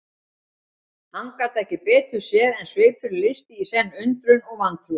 Hann gat ekki betur séð en svipurinn lýsti í senn undrun og vantrú.